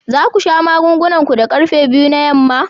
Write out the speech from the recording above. Za ku sha magungunan ku da karfe biyu na yamma?